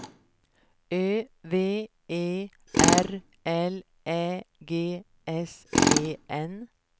Ö V E R L Ä G S E N